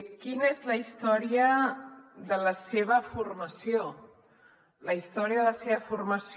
quina és la història de la seva formació la història de la seva formació